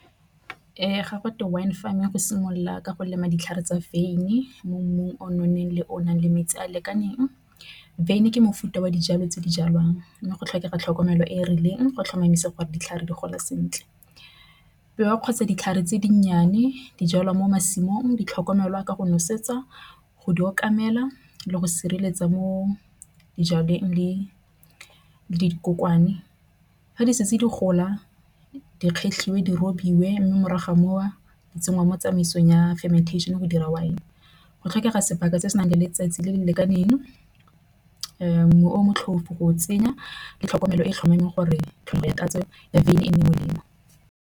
Ga go thwe wine farming go simolola ka go lema ditlhare tsa wine. Mo mmung o nonneng le o nang le metsi a lekaneng. Wine ke mofuta wa dijalo tse di jalwang mme go tlhokega tlhokomelo e e rileng go tlhomamisa gore ditlhare di gola sentle. Kgotsa ditlhare tse dinnyane di jalwa mo masimong di tlhokomelwa ka go nosetsa go di tlhokomela le go sireletsa mo dijalong le . Ga di setse di gola di kgetlhiwe di robiwe mme morago ga moo di tsengwa mo tsamaisong ya fermentation go dira wine. Go tlhokega sebaka se se nang le letsatsi le le lekaneng nngwe o motlhofo go tsenya le tlhokomelo e e tlhomameng gore tlholego ya tatso ya wine nne molemo.